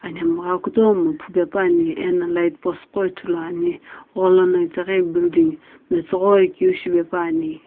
aphinhemgha kutomo phupepuani ena lightpost wo ithulu ani gholono building metsughoi keu shipe pauni.